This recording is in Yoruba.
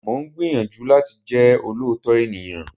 Mo ń gbìyànjú láti jẹ́ olóòótọ́ ènìyàn